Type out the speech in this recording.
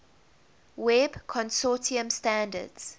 web consortium standards